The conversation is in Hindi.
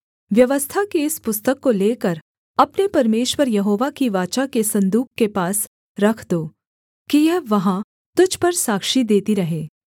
व्यवस्था की इस पुस्तक को लेकर अपने परमेश्वर यहोवा की वाचा के सन्दूक के पास रख दो कि यह वहाँ तुझ पर साक्षी देती रहे